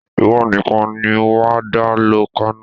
Ìwọ níkàn ni wà á dá lọ Kano